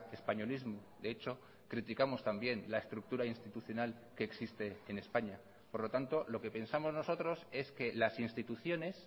españolismo de hecho criticamos también la estructura institucional que existe en españa por lo tanto lo que pensamos nosotros es que las instituciones